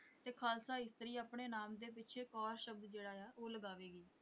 ਤੇ ਖ਼ਾਲਸਾ ਇਸਤਰੀ ਆਪਣੇ ਨਾਮ ਦੇ ਪਿੱਛੇ ਕੌਰ ਸ਼ਬਦ ਜਿਹੜਾ ਆ ਉਹ ਲਗਾਵੇਗੀ।